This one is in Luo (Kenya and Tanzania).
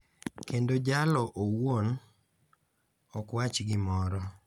kendo jalo owuon ok wach gimoro, .